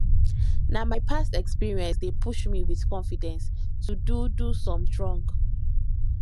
na my past experience dey push me with confidence to do do something strong